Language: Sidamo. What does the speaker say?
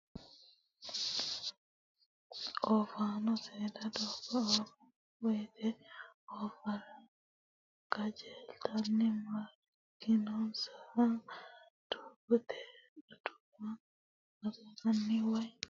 Oofano seeda doogo fultano woyte ooffara qajeeltenna maarekkinonissaha doogote adawu agarano woyi mootimmate bisa qorqorsha assittano seera harunsanni mootimmate sumuu yinohanna koe baddara.